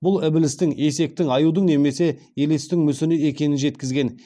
бұл ібілістің есектің аюдың немесе елестің мүсіні екенін жеткізген